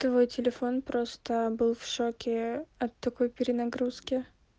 твой телефон просто был в шоке от такой перенагрузки